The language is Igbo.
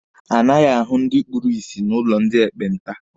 A naghị ahu ndi ekpenta n'ụlọ ndị ekpenta.